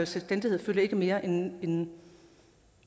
selvstændighed fylder ikke mere end